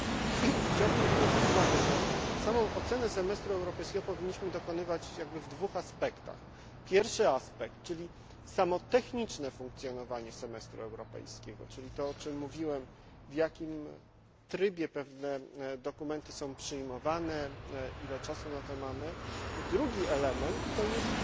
Niemniej jednak chciałbym zwrócić uwagę, że samej oceny semestru europejskiego powinniśmy dokonywać w dwóch aspektach pierwszy aspekt, czyli techniczne funkcjonowanie semestru europejskiego to, o czym mówiłem w jakim trybie pewne dokumenty są przyjmowane, ile mamy na to czasu drugi element to jest